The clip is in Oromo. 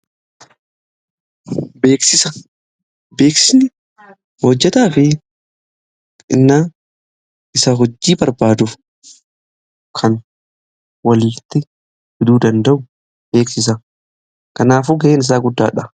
Beeksisa, beeksiisni hojjetaa fi isa hojii barbaadu kan walitti fiduu danda'u beeksisa. Kanaafuu ga'een isaa guddaadha.